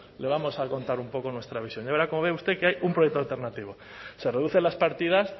le vamos a contar un poco nuestra visión ya verá cómo ve usted que hay un proyecto alternativo se reducen las partidas